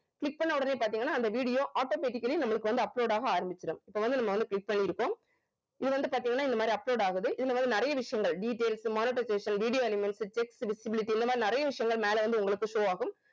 click பண்ண உடனே பாத்தீங்கன்னா அந்த video automatically நம்மளுக்கு வந்து upload ஆக ஆரம்பிச்சிடும் இப்ப வந்து நம்ம வந்து click பண்ணியிருக்கோம் இது வந்து பாத்தீங்கன்னா இந்த மாதிரி upload ஆகுது இதுல வந்து நிறைய விஷயங்கள் details monetization video animation text visibility இந்த மாதிரி நிறைய விஷயங்கள் மேல வந்து உங்களுக்கு show ஆகும்